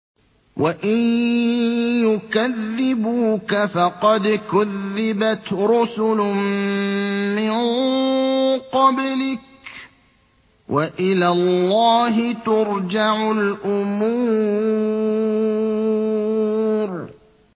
وَإِن يُكَذِّبُوكَ فَقَدْ كُذِّبَتْ رُسُلٌ مِّن قَبْلِكَ ۚ وَإِلَى اللَّهِ تُرْجَعُ الْأُمُورُ